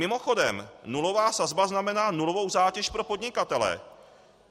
Mimochodem, nulová sazba znamená nulovou zátěž pro podnikatele.